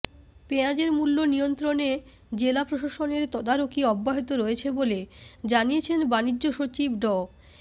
পেঁয়াজের মূল্য নিয়ন্ত্রণে জেলা প্রশাসনের তদারকি অব্যাহত রয়েছে বলে জানিয়েছেন বাণিজ্য সচিব ড